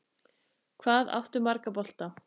Hvað áttu marga bolta?